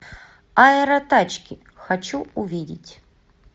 аэротачки хочу увидеть